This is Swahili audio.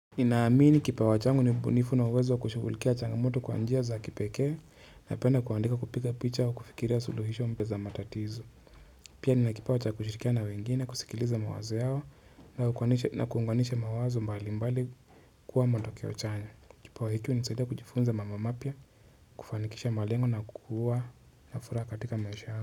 Naamini kipawa changu ni ubunifu na uwezo wa kushugulikia changamoto kwa njia za kipekee. Napenda kuandika, kupiga picha, kufikiria suluhisho za matatizo. Pia nina kipawa cha kushirikiana na wengine kusikiliza mawazo yao. Na kuunganisha mawazo mbali mbali kuwa matokeo chanya. Kipawa changu hunisadia kujifunza mambo mapya. Kufanikisha malengo na kuwa na fura katika maisha yao.